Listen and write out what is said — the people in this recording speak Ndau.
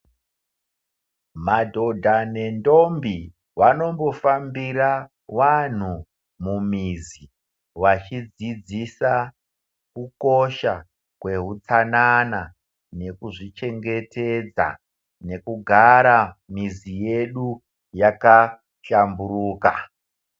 Madhodha nendombi vanombofambira vanthu mumizi wachidzidzisa kukosha kweutsanana nekuzvichengetedza nekugara mizi yedu yakashamburuka.